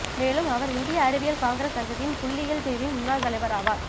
மேலும் அவர் இந்திய அறிவியல் காங்கிரஸ் சங்கத்தின் புள்ளியியல் பிரிவின் முன்னாள் தலைவர் ஆவார்